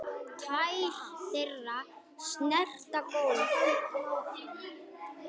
Tær þeirra snerta gólfið.